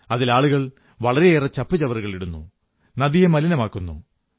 അതിൽ ആളുകൾ വളരെയേറെ ചപ്പുചവറുകൾ ഇടുന്നു നദിയെ മലിനമാക്കുന്നു